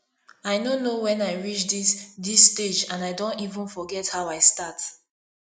i no know wen i reach dis dis stage and i don even forget how i start